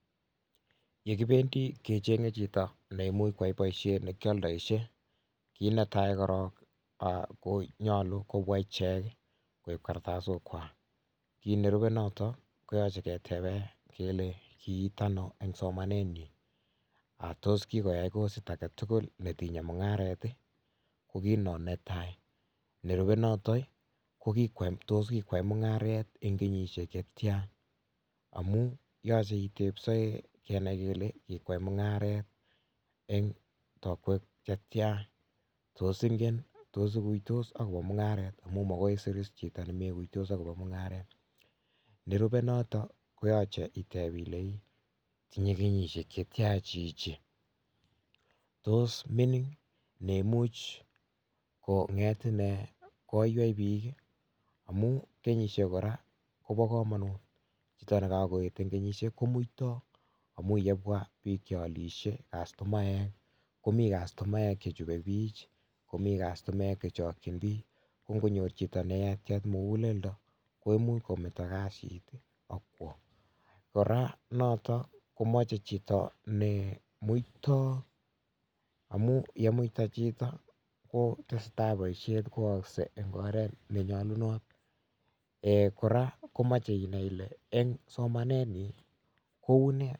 Yekibendi kecheng'e chito neimuch koyai boisiet nekialdoishe kit netai korong konyolu kobwa ichek koib kortosok kwak kit nerube noto koyoche keteben kele kiit ano eng somanenyin, tos kikoya kosit aketugul netinyeeke ak mung'aret ko kit non netai nerube notoi tos kikwai mung'aret en kenyisiek chetian amun yoche itebsen kenai kele kikwai mung'aret en tokwek chetia tos ingen tos ikuitos akopo mung'aret amun makoi isir iis chito nemoikuitos akopo mung'aret, nerube noto koyoche iteb ilee ii tinye kenyisiek chetia chichi tos mining neimuch kong'et inee koiwei biik amun kenyisiek kora kobokomonut chito nekokoet en kenyisiek komuito amun yebwa biik chealishe castomaek komii castomaek chechubee bich, komii castomaek chechokyin biik kongonyor chito nayatia mukuleldo koimuch kometo kasit akwo kora noto komoche chito nemuito amun yemuita chito koo tesetai boisiet koyokse eng oret nenyolunot, kora komoche inai ile eng somanenyin kou nee.